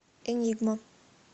энигма